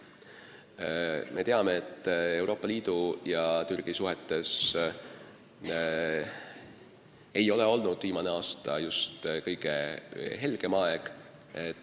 Samas me teame, et Euroopa Liidu ja Türgi suhetes ei ole viimane aasta just kõige helgem aeg olnud.